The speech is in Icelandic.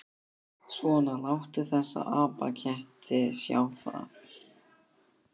Svona, láttu þessa apaketti sjá það.